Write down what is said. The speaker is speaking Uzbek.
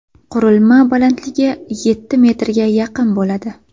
Qurilma balandligi yetti metrga yaqin bo‘ladi.